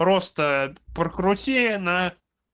просто прокрути на